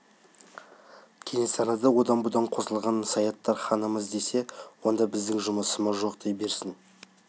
кенесарыны одан-бұдан қосылған саяқтар ханымыз десе онда біздің жұмысымыз жоқ дей берсін